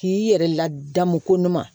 K'i yɛrɛ ladamu ko n'u ma